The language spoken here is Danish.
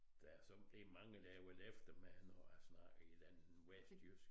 Der er så det er mange der har været efter mig når jeg snakker et eller andet vestjysk